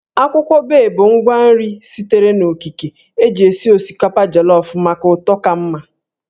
Akwụkwọ Bay bụ ngwa nri sitere n'okike eji esi osikapa jolofụ maka ụtọ ka mma